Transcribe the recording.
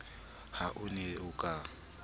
ha o ne o ka